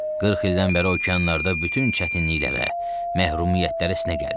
40 ildən bəri okeanlarda bütün çətinliklərə, məhrumiyyətlərə sinə gəlmişəm.